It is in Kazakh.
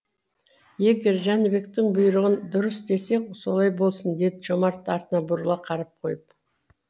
егер жәнібектің бұйрығын дұрыс десек солай болсын деді жомарт артына бұрыла қарап қойып